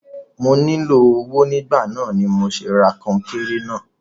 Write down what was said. Mo nílò owó nígbà náà ni mà ra kọńkéré náà.